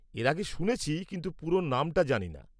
-এর আগে শুনেছি কিন্তু পুরো নামটা জানিনা।